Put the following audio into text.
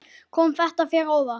Kom þetta þér á óvart?